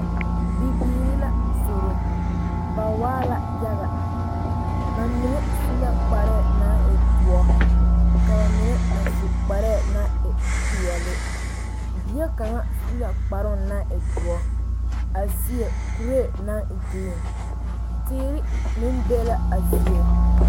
Bibiiri la zoro ba waa la yaga ba mine su la kparɛɛ naŋ e doɔ ka ba mine a su kparɛɛ naŋ e peɛle bie kaŋa su la kparɛɛ naŋ e doɔ a seɛ kuree naŋ e geree teere meŋ be la a zie